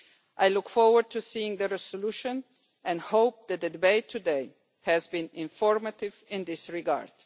I look forward to seeing the resolution and hope that the debate today has been informative in this regard.